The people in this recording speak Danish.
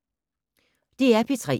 DR P3